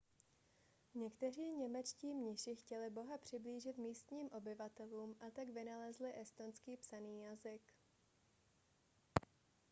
někteří němečtí mniši chtěli boha přiblížit místním obyvatelům a tak vynalezli estonský psaný jazyk